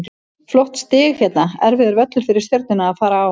Flott stig hérna, erfiður völlur fyrir Stjörnuna að fara á.